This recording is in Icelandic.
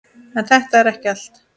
En þetta er ekki allt.